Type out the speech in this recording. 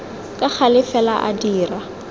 ka gale fela a dira